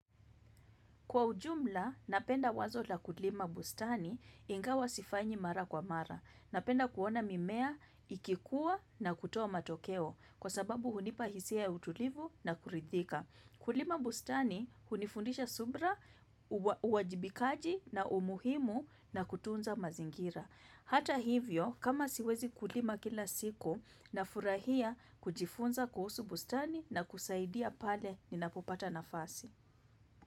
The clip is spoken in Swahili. Kwa ujumla, napenda wazo la kulima bustani ingawa sifanyi mara kwa mara. Napenda kuona mimea, ikikua na kutoa matokeo kwa sababu hunipahisia utulivu na kuridhika. Kulima bustani hunifundisha subra, uwajibikaji na umuhimu na kutunza mazingira. Hata hivyo, kama siwezi kulima kila siku na furahia kujifunza kuhusu bustani na kusaidia pale ni napopata nafasi.